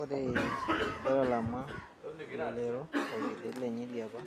Ore petalama elelero orkerreti lenye liapa